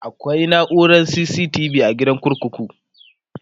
akwai naurar CCTV be a gidan kurkuku